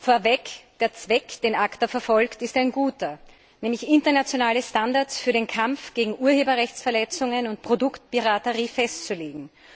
Vorweg, der Zweck, den ACTA verfolgt, ist ein guter, nämlich internationale Standards für den Kampf gegen Urheberrechtsverletzungen und Produktpiraterie festzulegen.